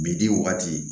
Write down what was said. Bidi waati